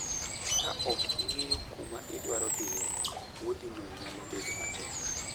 Ka ok ing'eyo kuma idwaro dhiye, wuodhino nyalo bedo matek.